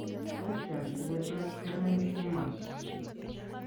Lesions chu ko tos' ke len tumors.